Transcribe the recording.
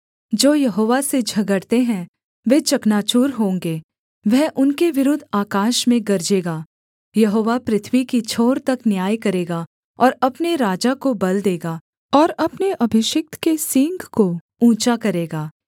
जो यहोवा से झगड़ते हैं वे चकनाचूर होंगे वह उनके विरुद्ध आकाश में गरजेगा यहोवा पृथ्वी की छोर तक न्याय करेगा और अपने राजा को बल देगा और अपने अभिषिक्त के सींग को ऊँचा करेगा